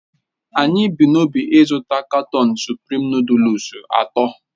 Anyị bu n'obi ịzụta katọọnu suprịm nụdụlsu atọ.